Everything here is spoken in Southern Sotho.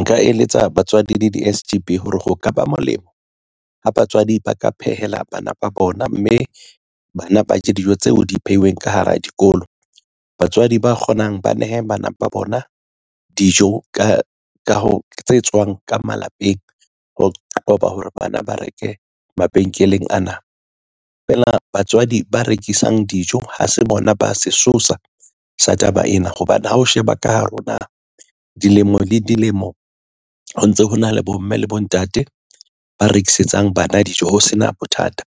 Nka eletsa batswadi le di-S_G_B hore ho ka ba molemo, ha batswadi ba ka phehela bana ba bona, mme bana ba je dijo tseo di phehilweng ka hara dikolo. Batswadi ba kgonang ba nehe bana ba bona dijo tse tswang ka malapeng, ho qoba hore bana ba reke mabenkeleng ana. Feela batswadi ba rekisang dijo ha se bona ba sesosa sa taba ena hobane ha o sheba ka hare ho naha, dilemo le dilemo ho ntso ho na le bomme le bontate ba rekisetsang bana dijo, ho sena bothata.